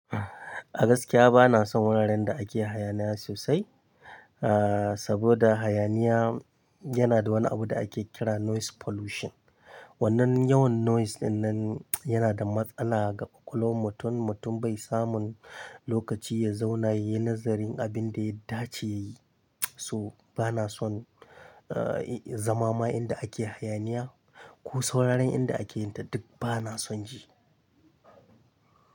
A gaskiya bana son wuraren da ake hayaniya sosai, ah saboda hayaniya yana da wani abu da ake kira noise pollution. Wannan yawan noise dinnan yana da matsala ga ƙuƙulowar mutum, mutum bai samun lokaci ya zauna yayi nazarin abin da ya dace yayi. So bana son zamama inda ake hayaniya ko sauran wuraren inda ake yin ta duk bana son ji.